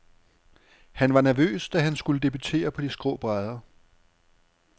Han var nervøs, da han skulle debutere på de skrå brædder.